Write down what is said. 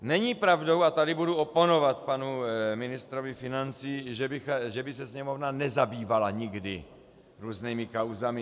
Není pravdou, a tady budu oponovat panu ministru financí, že by se Sněmovna nezabývala nikdy různými kauzami.